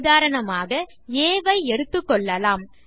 உதாரணமாக ஆ ஐ எடுத்துக்கொள்ளலாம்